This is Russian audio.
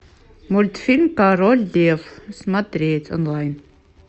мультфильм король лев смотреть онлайн